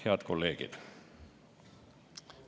Head kolleegid!